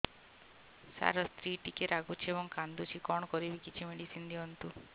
ସାର ସ୍ତ୍ରୀ ଟିକେ ରାଗୁଛି ଏବଂ କାନ୍ଦୁଛି କଣ କରିବି କିଛି ମେଡିସିନ ଦିଅନ୍ତୁ